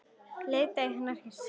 Leit til hennar hissa.